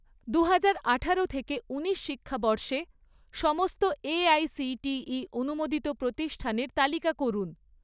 দুহাজার আঠারো থেকে ঊনিশ শিক্ষাবর্ষে সমস্ত এআইসিটিই অনুমোদিত প্রতিষ্ঠানের তালিকা করুন